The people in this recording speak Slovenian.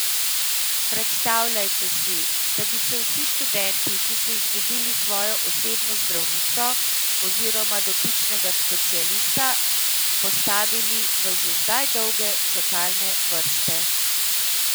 Predstavljajte si, da bi se vsi študenti, ki so izgubili svojo osebno zdravnico oziroma dotičnega specialista, postavili v že zdaj dolge čakalne vrste.